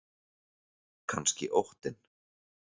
Kannski óttinn.